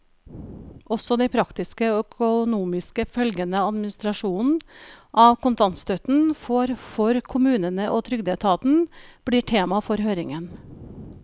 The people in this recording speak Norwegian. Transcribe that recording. Også de praktiske og økonomiske følgene administrasjonen av kontantstøtten får for kommunene og trygdeetaten, blir tema for høringen.